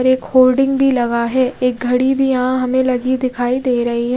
और एक खोल्डिंग भी लगा है एक घड़ी भी यहाँ हमे लगी दिखाई दे रही है।